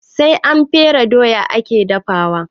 Sai an fere doya ake dafawa